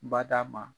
Bada ma